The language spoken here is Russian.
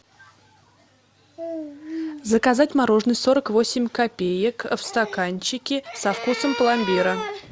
заказать мороженое сорок восемь копеек в стаканчике со вкусом пломбира